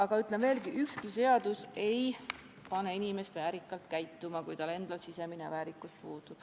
Aga ütlen veel kord: ükski seadus ei pane inimest väärikalt käituma, kui tal endal sisemine väärikus puudub.